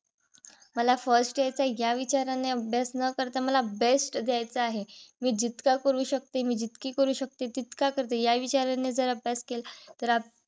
मला first यायचंय ह्या विचाराने अभ्यास न करता मला best द्यायचा आहे. मी जितका करू शकते. मी जितकी करू शकते तितका करते. या विचाराने जर अभ्यास केला तर आपण